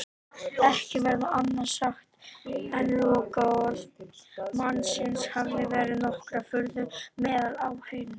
Ekki verður annað sagt en lokaorð mannsins hafi vakið nokkra furðu meðal áheyrenda.